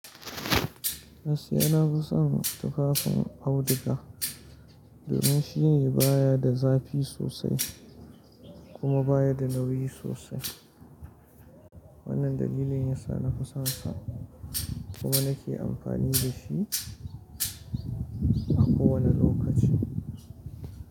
Gaskiya nafi son tufafin auduga domin shi baya da zafi sosai kuma baya da nauyi sosai. Wannan dalilin yasa nafi sonsa kuma nake amfani da shi a kowane lokaci.